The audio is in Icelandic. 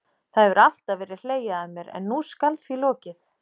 Það hefur alltaf verið hlegið að mér, en nú skal því lokið.